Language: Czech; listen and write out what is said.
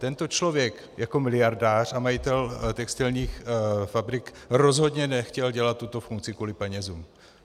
Tento člověk jako miliardář a majitel textilních fabrik rozhodně nechtěl dělat tuto funkci kvůli penězům.